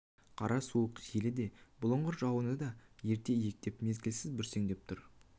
қара суық желі де бұлыңғыр жауыны да ерте иектеп мезгілсіз бүрсеңдеп тұр